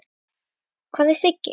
Hvar er Siggi?